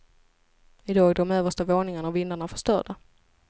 I dag är de översta våningarna och vindarna förstörda.